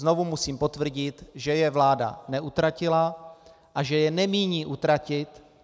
Znovu musím potvrdit, že je vláda neutratila a že je nemíní utratit.